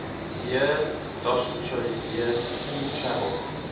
year dostoyevsky traveled